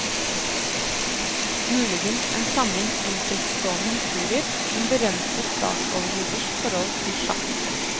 Muligens en samling enkeltstående historier om berømte statsoverhoders forhold til sjakk.